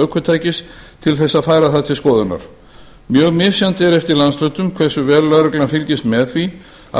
ökutækis til þess að færa það til skoðunar mjög misjafnt er eftir landshlutum hversu vel lögreglan fylgist með því